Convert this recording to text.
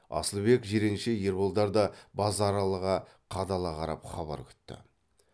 асылбек жиренше ерболдар да базаралыға қадала қарап хабар күтті